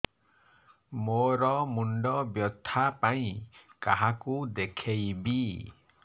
ମୋର ମୁଣ୍ଡ ବ୍ୟଥା ପାଇଁ କାହାକୁ ଦେଖେଇବି